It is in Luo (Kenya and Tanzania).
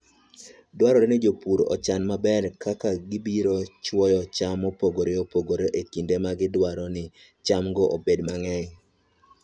Dwarore ni jopur ochan maber kaka gibiro chwoyo cham mopogore opogore e kinde ma gidwaro ni chamgo obed mang'eny.